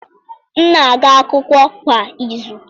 M na-aga akwụkwọ kwa izu.